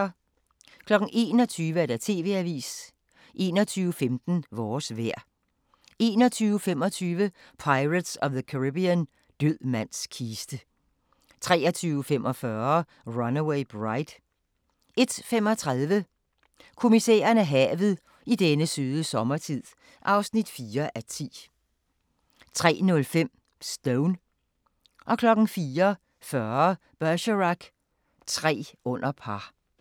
21:00: TV-avisen 21:15: Vores vejr 21:25: Pirates of the Caribbean – Død mands kiste 23:45: Runaway Bride 01:35: Kommissæren og havet: I denne søde sommertid (4:10) 03:05: Stone 04:40: Bergerac: Tre under par